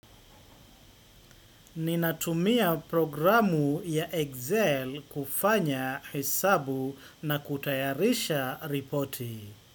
Ninatumia programu ya Excel kufanya hesabu na kutayarisha ripoti.